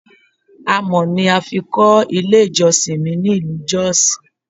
Amọ̀ ni a fi kọ́ ilé ìjọsìn mi ní ìlú jọ́ọ̀sì.